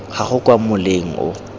ga gago kwa moleng o